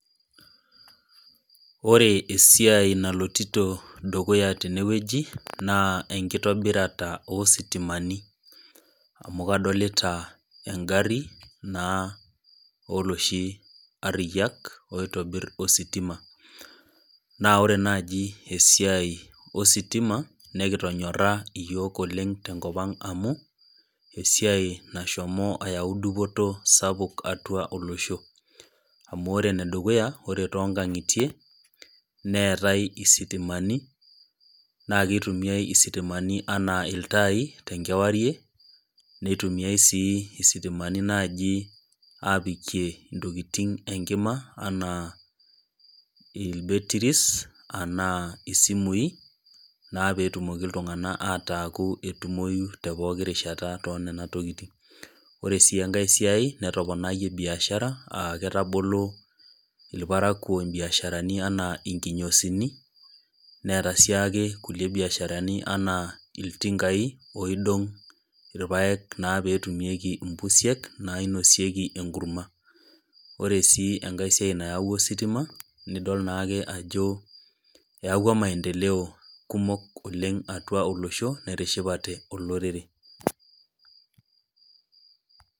Ore esiai naloitito dukuya tenewueji na enkitobirata ositimani amu kadolta engaru na oloshi ariyak oitobir ositima na ore nai esiai ostima nimitonyora yiol oleng tenkopang amu esiaia nashomo ayau dupoto sapuk tiatua olosho amu emore enedukuya ore tonkangitie neetae isitimani nakitumia isitimani ana ltai tenkewarie nitumia si sitimani nai apikie ntokitin enkima ana isimui na petumoki ltunganak ataa etumoi tepokki rishata enatokiti ore si enkai siai netoponayie biashara aketaboli irparakuo mbiasharani ana kinyosini neeta siake nkulie biasharani ana ltingai oidong irpaak petumieki mpusiek nainosieki enkurma ,ore enkai siai nayau ositima idol ajo eyawua maendelea kumok atua olosho netishipate olorore .